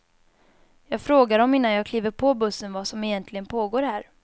Jag frågar dem innan jag kliver på bussen vad som egentligen pågår här.